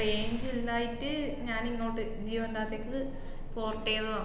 range ഇല്ലായിട്ട് ഞാനിങ്ങോട്ട് ജിയോൻറ്റാത്തേക്ക് port എയ്‌തതാ.